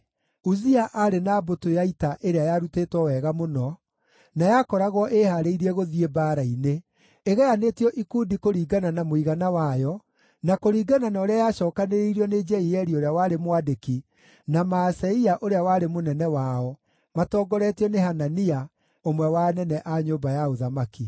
Uzia aarĩ na mbũtũ ya ita ĩrĩa yarutĩtwo wega mũno, na yakoragwo ĩĩhaarĩirie gũthiĩ mbaara-inĩ, ĩgayanĩtio ikundi kũringana na mũigana wayo na kũringana na ũrĩa yacookanĩrĩirio nĩ Jeieli ũrĩa warĩ mwandĩki na Maaseia ũrĩa warĩ mũnene wao, matongoretio nĩ Hanania, ũmwe wa anene a nyũmba ya ũthamaki.